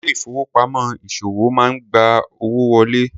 Ilé ìfowópamọ́ ìṣòwò máa ń gba owó wọlé.